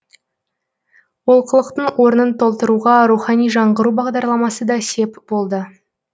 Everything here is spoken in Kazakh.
олқылықтың орнын толтыруға рухани жаңғыру бағдарламасы да сеп болды